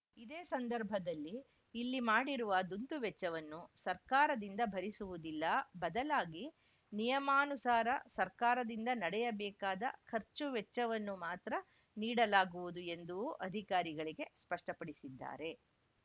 ಇದೇ ಸಂದರ್ಭದಲ್ಲಿ ಇಲ್ಲಿ ಮಾಡಿರುವ ದುಂದುವೆಚ್ಚವನ್ನು ಸರ್ಕಾರದಿಂದ ಭರಿಸುವುದಿಲ್ಲ ಬದಲಾಗಿ ನಿಯಮಾನುಸಾರ ಸರ್ಕಾರದಿಂದ ನಡೆಯಬೇಕಾದ ಖರ್ಚು ವೆಚ್ಚವನ್ನು ಮಾತ್ರ ನೀಡಲಾಗುವುದು ಎಂದೂ ಅಧಿಕಾರಿಗಳಿಗೆ ಸ್ಪಷ್ಟಪಡಿಸಿದ್ದಾರೆ